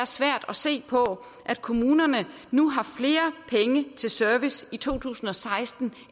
svært at se på at kommunerne nu har flere penge til service i to tusind og seksten